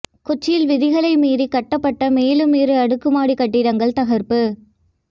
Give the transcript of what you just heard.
கொச்சியில் விதிகளை மீறி கட்டப்பட்ட மேலும் இரு அடுக்குமாடி கட்டிடங்கள் தகர்ப்பு